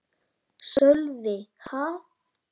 Sölvi: Ha?